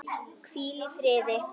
Hvíl í fríði.